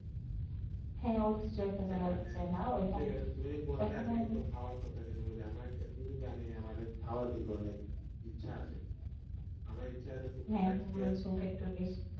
হয়ে ঐত কিসু একটু জাগা আসে